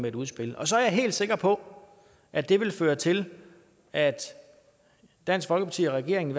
et udspil så er jeg helt sikker på at det vil føre til at dansk folkeparti og regeringen